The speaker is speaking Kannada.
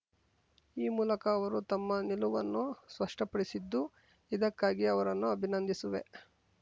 ಈ ಮೂಲಕ ಅವರು ತಮ್ಮ ನಿಲುವನ್ನು ಸ್ಪಷ್ಟಪಡಿಸಿದ್ದು ಇದಕ್ಕಾಗಿ ಅವರನ್ನು ಅಭಿನಂದಿಸುವೆ